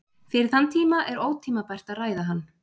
Fyrir þann tíma er ótímabært að ræða hann.